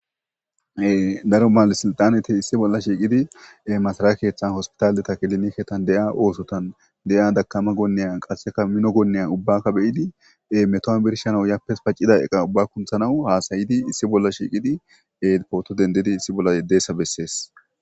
daro maale siltaneti issi bolla shiiqidi masalae keeththan hospitaaldeta kiliniketan de7ia oosotan de7ia dakama gonneya qasseka mino goonneya ubbakka beyidi meto7a birshana yappes paccida eqa ubba kunthanawu haasayidi issi bolla shiiqidi e pooto dendidi issi bolla yeddessa bessees